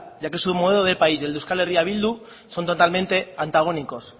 ya que su modo de país y el de euskal herria bildu son totalmente antagónicos